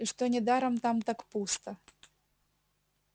и что недаром там так пусто